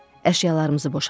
Əşyalarımızı boşaltdıq.